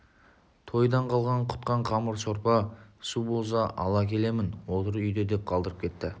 тойдан қалған-құтқан қамыр сорпа-су болса ала келемін отыр үйде деп қалдырып кетті